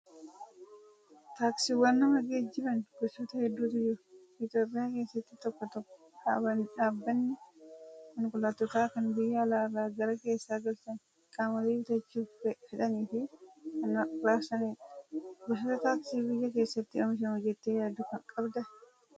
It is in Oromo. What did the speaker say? Taaksiiwwan nama geejjiban gosoota hedduutu jiru. Itoophiyaa keessatti tokko tokko dhaabbanni konkolaattota kana biyya alaarraa gara keessaa galchanii qaamolee bitachuu fedhaniif kan raabsanidha. Gosoota taaksii biyya keessatti oomishamu jettee yaaddu qabdaa?